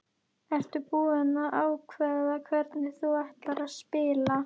Ertu búinn að ákveða hvernig þú ætlar að spila?